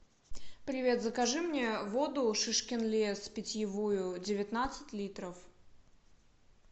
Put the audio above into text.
привет закажи мне воду шишкин лес питьевую девятнадцать литров